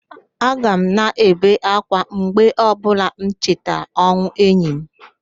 Aka m na-ebe ákwá mgbe ọbụla m cheta ọnwụ enyi m